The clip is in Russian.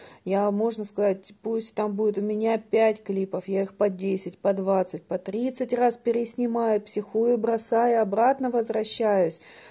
я можно сказать пусть там будут у меня опять клипов я их по десять по двадцать по тридцать раз переснимаю психую бросаю обратно возвращаюсь